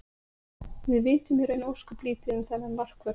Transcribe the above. Við vitum í raun ósköp lítið um þennan markvörð.